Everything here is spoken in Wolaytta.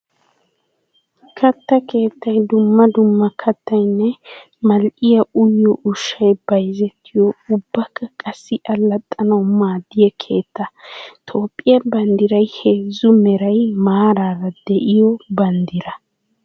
Katta keettay dumma dumma kattayinne mal'iya uyyiyo ushshay bayzzettiyo ubbakka qassi allaxxanawu maadiya keetta. Toophphiya banddiray heezzu meray maarara de'iyo banddira.